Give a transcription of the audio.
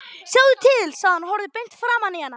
Sjáðu til, sagði hann og horfði beint framan í hana.